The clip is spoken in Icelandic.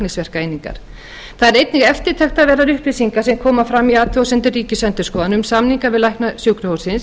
og læknisverkaeiningar það eru einnig eftirtektarverðar upplýsingar sem koma fram í athugasemdum ríkisendurskoðunar um samninga við lækna sjúkrahússins